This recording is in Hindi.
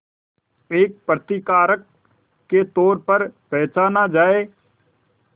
एक प्रतिकारक के तौर पर पहचाना जाए